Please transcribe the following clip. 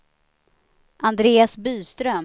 Andreas Byström